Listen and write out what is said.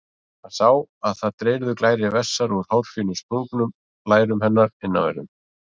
Hann sá að það dreyrðu glærir vessar úr hárfínum sprungum á lærum hennar innanverðum.